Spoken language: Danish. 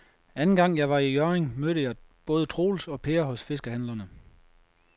Anden gang jeg var i Hjørring, mødte jeg både Troels og Per hos fiskehandlerne.